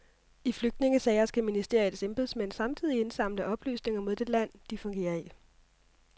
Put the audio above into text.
I flygtningesager skal ministeriets embedsmænd samtidig indsamle oplysninger mod det land, de fungerer i.